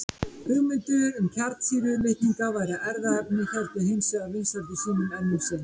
Hugmyndir um að kjarnsýra litninga væri erfðaefni héldu hins vegar vinsældum sínum enn um sinn.